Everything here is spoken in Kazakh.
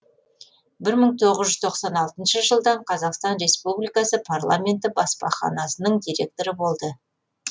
бір мың тоғыз жүз тоқсан алтыншы жылдың қазақстан ресупбликасы парламенті баспаханасының директоры болды